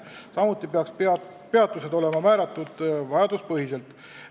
Samuti peaks peatused olema vajaduspõhiselt määratud.